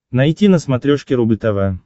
найти на смотрешке рубль тв